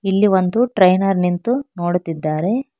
ಇಲ್ಲಿ ಒಂದು ಟ್ರೈನರ್ ನಿಂತು ನೋಡುತ್ತಿದ್ದಾರೆ.